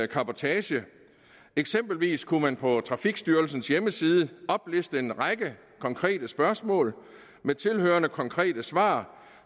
cabotage eksempelvis kunne man på trafikstyrelsens hjemmeside opliste en række konkrete spørgsmål med tilhørende konkrete svar